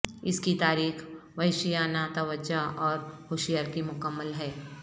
اس کی تاریخ وحشیانہ توجہ اور ہوشیار کی مکمل ہے